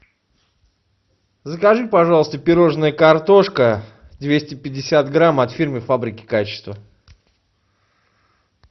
закажи пожалуйста пирожное картошка двести пятьдесят грамм от фирмы фабрики качества